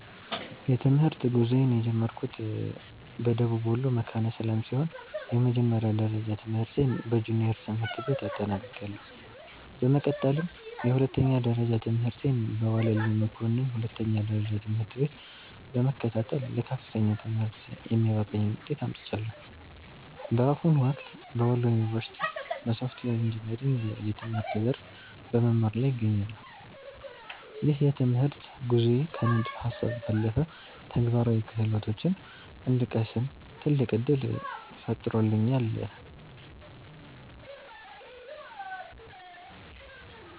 የትምህርት ጉዞዬን የጀመርኩት በደቡብ ወሎ መካነ ሰላም ሲሆን፣ የመጀመሪያ ደረጃ ትምህርቴን በጁኒየር ትምህርት ቤት አጠናቅቄያለሁ። በመቀጠልም የሁለተኛ ደረጃ ትምህርቴን በዋለልኝ መኮንን ሁለተኛ ደረጃ ትምህርት ቤት በመከታተል ለከፍተኛ ትምህርት የሚያበቃኝን ውጤት አምጥቻለሁ። በአሁኑ ወቅት በወሎ ዩኒቨርሲቲ (Wollo University) በሶፍትዌር ኢንጂነሪንግ የትምህርት ዘርፍ በመማር ላይ እገኛለሁ። ይህ የትምህርት ጉዞዬ ከንድፈ ሃሳብ ባለፈ ተግባራዊ ክህሎቶችን እንድቀስም ትልቅ ዕድል ፈጥሮልኛል።